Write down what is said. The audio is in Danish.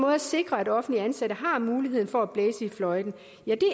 at sikre at offentligt ansatte har muligheden for at blæse i fløjten